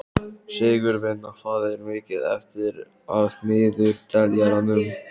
Sigurvina, hvað er mikið eftir af niðurteljaranum?